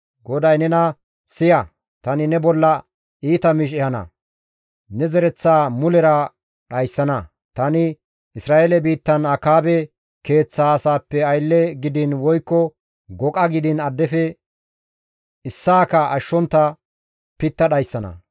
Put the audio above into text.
GODAY nena, ‹Siya, tani ne bolla iita miish ehana. Ne zereththaa mulera dhayssana; tani Isra7eele biittan Akaabe keeththa asaappe aylle gidiin woykko goqa gidiin addefe issaaka ashshontta pitta dhayssana.